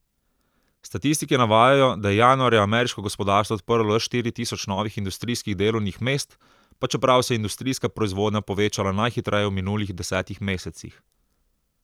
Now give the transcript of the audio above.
Statistiki navajajo, da je januarja ameriško gospodarstvo odprlo le štiri tisoč novih industrijskih delovnih mest, pa čeprav se je industrijska proizvodnja povečala najhitreje v minulih desetih mesecih.